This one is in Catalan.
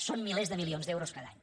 són milers de milions d’euros cada any